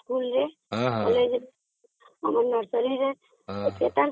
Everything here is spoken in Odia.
କହିଲେ ଆମର ଯୋଉ ନର୍ସରୀ ରେ ସେଇଟା